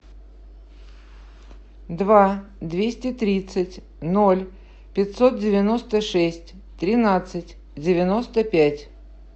два двести тридцать ноль пятьсот девяносто шесть тринадцать девяносто пять